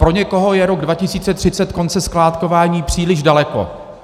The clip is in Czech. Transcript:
Pro někoho je rok 2030 konce skládkování příliš daleko.